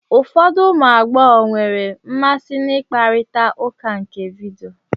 Ụfọdụ ụmụ agbọghọ nwere mmasị na ikparita ụka nke vidio